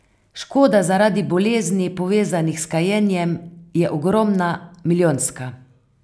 Škoda zaradi bolezni, povezanih s kajenjem, je ogromna, milijonska.